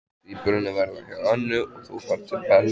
Tvíburarnir verða hjá Önnu og þú ferð til Bellu.